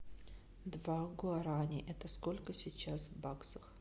два гуарани это сколько сейчас в баксах